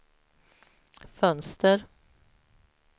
fönster